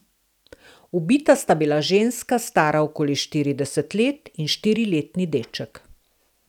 Ubita sta bila ženska, stara okoli štirideset let, in štiriletni deček.